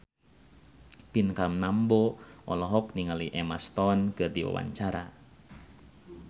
Pinkan Mambo olohok ningali Emma Stone keur diwawancara